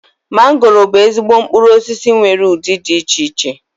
Mangoro bụ ezigbo mkpụrụosisi nwere ụdị dị iche iche